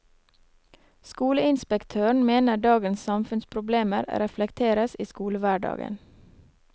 Skoleinspektøren mener dagens samfunnsproblemer reflekteres i skolehverdagen.